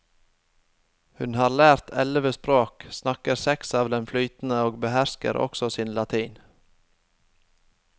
Hun har lært elleve språk, snakker seks av dem flytende og behersker også sin latin.